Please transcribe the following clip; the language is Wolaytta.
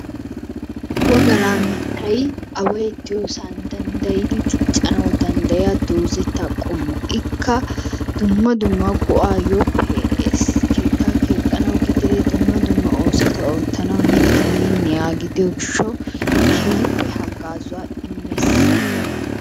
Wogara mittay away de'iyosan dandayidi diccanawu dandayiyaa dozaatu qomuwaa ikka dumma dumaa go'ayoo pe'ees. Keetta kexanawu gidide dumma dumma osuwaa ottanawu mittay miniyaga gidiyo gishawu kehippe hagazuwa imees.